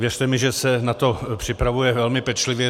Věřte mi, že se na to připravuje velmi pečlivě.